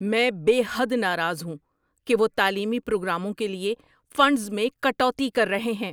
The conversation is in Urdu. میں بے حد ناراض ہوں کہ وہ تعلیمی پروگراموں کے لیے فنڈز میں کٹوتی کر رہے ہیں۔